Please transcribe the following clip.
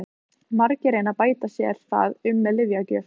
Margir reyna að bæta sér það upp með lyfjagjöf.